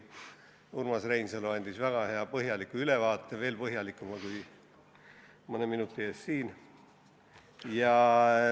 Urmas Reinsalu andis väga hea ja põhjaliku ülevaate, veel põhjalikuma kui mõne minuti eest siin.